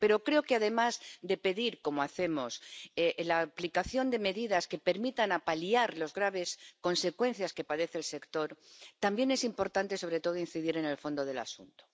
Pero creo que además de pedir —como hacemos— la aplicación de medidas que permitan paliar las graves consecuencias que padece el sector, también es importante, sobre todo, incidir en el fondo del asunto.